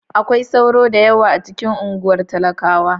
Akwai sauro da yawa a cikin unguwar talakawa.